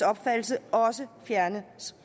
opfattelse også fjernes